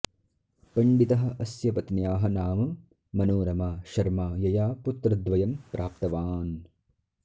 पण्डितः अस्य पत्न्याः नाम मनोरमा शर्मा यया पुत्रद्वयं प्राप्तवान्